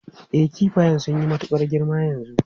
E, kifayan sun yi matukar girma yanzu.